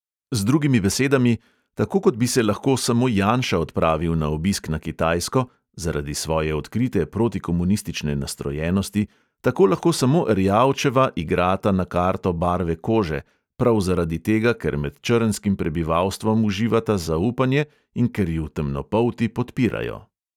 Z drugimi besedami: tako kot bi se lahko samo janša odpravil na obisk na kitajsko (zaradi svoje odkrite protikomunistične nastrojenosti), tako lahko samo erjavčeva igrata na karto barve kože; prav zaradi tega, ker med črnskim prebivalstvom uživata zaupanje in ker ju temnopolti podpirajo.